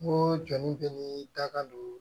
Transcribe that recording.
N ko jɔnnin bɛ ni daga don